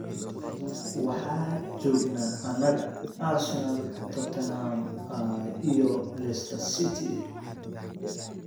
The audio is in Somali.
Waxaa joognaa annaga, Arsenal, Tottenham iyo Leicester.